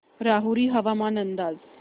राहुरी हवामान अंदाज